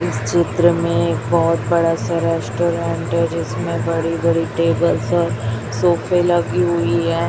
इस चित्र में एक बहोत बड़ा सा रेस्टोरेंट है। जिसमें बड़ी बड़ी टेबल्स और सोफे लगी हुई है।